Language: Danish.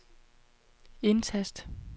indtast